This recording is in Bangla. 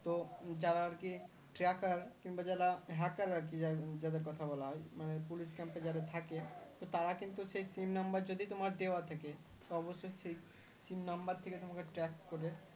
যারা আর কি Tracker কিংবা যারা Hacker আর কি যাদের কথা বলা হয় মানে Police Camp এ যারা থাকে তো তারা কিন্তু সেই sim number যদি তোমার দেওয়া থাকে তো অবশ্যই সেই sim number থেকে তোমাকে track করে